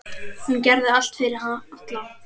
Hún gerði allt fyrir alla.